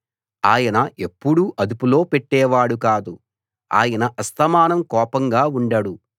ఆయన ఎప్పుడూ అదుపులో పెట్టేవాడు కాదు ఆయన అస్తమానం కోపంగా ఉండడు